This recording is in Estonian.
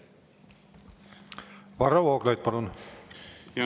Varro Vooglaid, palun!